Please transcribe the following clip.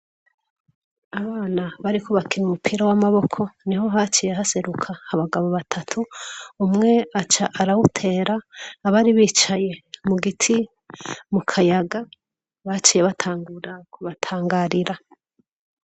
Abana bariko bakina umupira w'amaboko, niho haciye haseruka abagabo batatu, umwe aca arawutera abari bicaye mu giti mu kayaga baciye batangura ku batangarira.